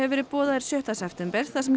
verið boðaður sjötta september þar sem